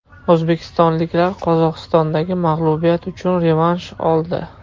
O‘zbekistonliklar Qozog‘istondagi mag‘lubiyat uchun revansh oldi.